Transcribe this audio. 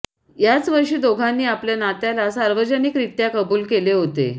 याच वर्षी दोघांनी आपल्या नात्याला सार्वजनिकरित्या कबूल केले होते